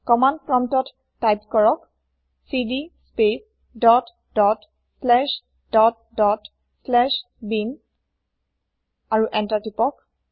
command প্ৰম্পতত type কৰক cd space dot dot slash dot dot slash bin আৰু enter টিপক